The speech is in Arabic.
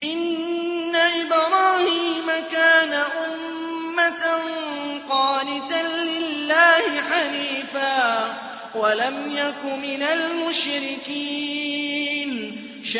إِنَّ إِبْرَاهِيمَ كَانَ أُمَّةً قَانِتًا لِّلَّهِ حَنِيفًا وَلَمْ يَكُ مِنَ الْمُشْرِكِينَ